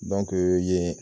Dɔnke yen